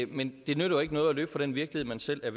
men det nytter jo ikke noget at løbe fra den virkelighed man selv er